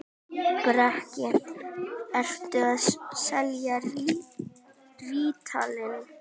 Breki: Ertu að selja rítalín?